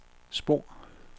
spor